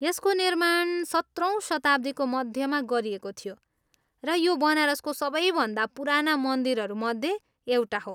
यसको निर्माण सत्रौँ शताब्दीको मध्यमा गरिएको थियो, र यो बनारसको सबैभन्दा पुराना मन्दिरहरू मध्ये एउटा हो।